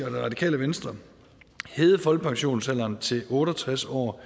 og det radikale venstre hævede folkepensionsalderen til otte og tres år